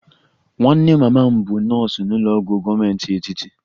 Nwanne mama m bụ nọọsụ n'ụlọ ọgwụ gọọmenti etiti